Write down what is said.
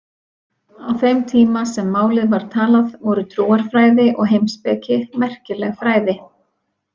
Á þeim tíma sem málið var talað voru trúarfræði og heimspeki merkileg fræði.